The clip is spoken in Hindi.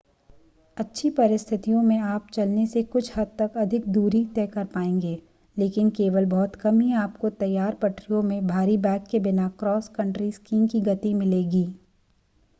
अच्छी परिस्थितियों में आप चलने से कुछ हद तकअधिक दूरी तय कर पाएंगे लेकिन केवल बहुत कम ही आपको तैयार पटरियों में भारी बैग के बिना क्रॉस कंट्री स्कीइंग की गति मिलेगी